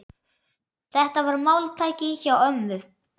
Þetta var máltæki hjá ömmu.